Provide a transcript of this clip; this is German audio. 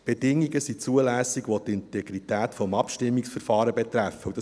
Bedingungen, welche die Integrität des Abstimmungsverfahrens betreffen, sind zulässig.